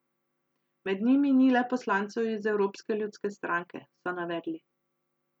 Med njimi ni le poslancev iz Evropske ljudske stranke, so navedli.